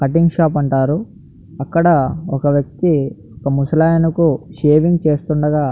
cutting shop అంటారు అక్కడ ఒక వ్యక్తి ఒక ముసలాయనకు షేవింగ్ చేస్తుండగా --